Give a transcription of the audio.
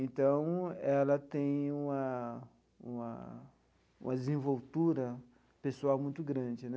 Então, ela tem uma uma uma desenvoltura pessoal muito grande.